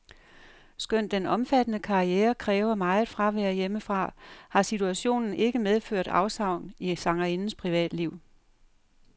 Skønt den omfattende karriere kræver meget fravær hjemmefra, har situationen ikke medført afsavn i sangerindens privatliv.